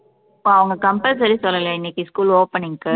இப்ப அவங்க compulsory சொல்லலையா இன்னைக்கு school opening க்கு